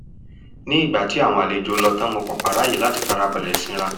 nígbà tí àwọn àlejò lọ tán mo pàpà ráàyè láti ìfarabalẹ̀ sinra